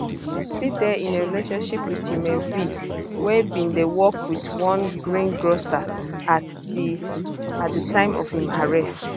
she still dey in a relationship with jrme v wey bin dey work for one greengrocer at di at di time of im arrest